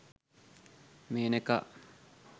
menaka